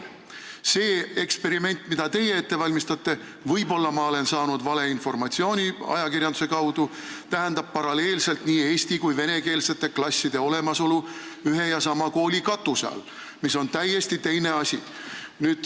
See eksperiment, mida teie ette valmistate – võib-olla ma olen ajakirjanduse kaudu valeinformatsiooni saanud –, tähendab paralleelselt nii eesti- kui venekeelsete klasside olemasolu ühe ja sama kooli katuse all, mis on täiesti teine asi.